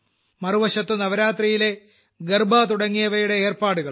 മറുവശത്ത് നവരാത്രിയിലെ ഗർബാ തുടങ്ങിയവയുടെ ഏർപ്പാടുകളും